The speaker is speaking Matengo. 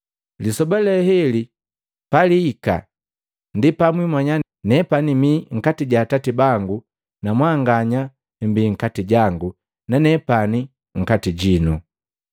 Lisoba le heli paliika ndi pamwimanya nepani mi nkati ja Atati bangu, na mwanganya mmbi nkati jangu, na nepani nkati jino.